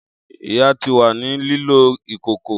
Iya ti wa ni lilo ìkòkò.